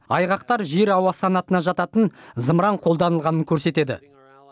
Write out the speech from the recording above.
айғақтар жер ауа санатына жататын зымыран қолданылғанын көрсетеді